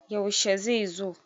yaushe zai zo?